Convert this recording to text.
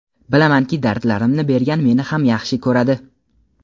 bilamanki dardlarimni bergan meni ham yaxshi ko‘radi.